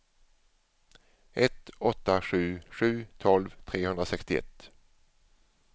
ett åtta sju sju tolv trehundrasextioett